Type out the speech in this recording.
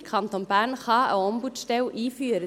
Der Kanton Bern kann einen Ombudsstelle einführen.